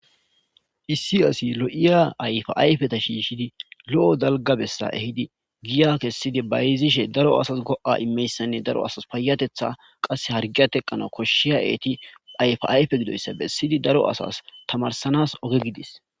Issi asi lo'iya ayifa ayifeta shishidi lo'iya daliga bessa ehidi giya kessidi bayiziyasanne giya kessedi daro go'a immizayissa ,daro asasi payateththa qase daro asasi payateththa harigiya teqanawu,koshshiya eti ayifa ayifa gidoyissa bessidi Daro asasi asasi tamarsisanassi oge gidis .